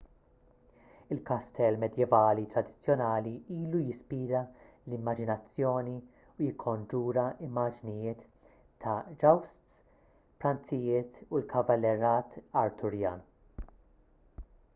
il-kastell medjevali tradizzjonali ilu jispira l-immaġinazzjoni u jikkonġura immaġnijiet ta' jousts pranzijiet u l-kavallerat arturjan